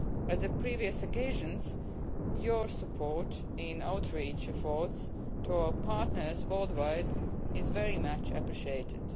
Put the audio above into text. As on previous occasions, your support in outreach efforts to our partners worldwide is very much appreciated.